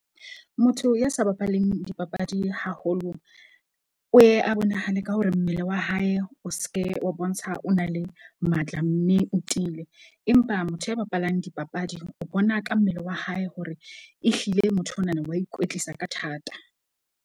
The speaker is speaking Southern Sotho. Motho ya sa bapaleng dipapadi haholo o ye a bonahale ka hore mmele wa hae o seke wa bontsha, o na le matla mme o tiile. Empa motho ya bapalang dipapadi o bona ka mmele wa hae hore ehlile motho onana wa ikwetlisa ka thata.